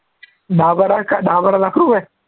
दहा बारा काय दहा बारा लाख रुपये